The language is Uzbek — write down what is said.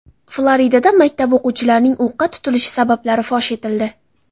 Floridada maktab o‘quvchilarining o‘qqa tutilishi sabablari fosh etildi.